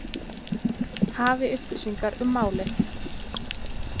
Hafi upplýsingar um málið.